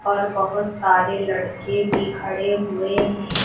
और बहोत सारे लड़के भी खड़े हुए हैं।